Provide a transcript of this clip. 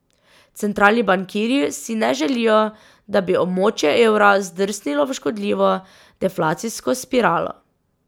Centralni bankirji si ne želijo, da bi območje evra zdrsnilo v škodljivo deflacijsko spiralo.